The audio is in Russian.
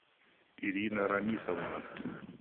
ирина рамисовна